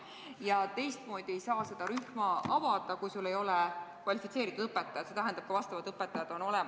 Ja sellist rühma ei saa avada, kui sul ei ole kvalifitseeritud õpetajat, see tähendab, et ka vastavad õpetajad on olemas.